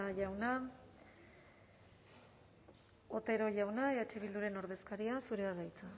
jauna otero jauna eh bilduren ordezkaria zurea da hitza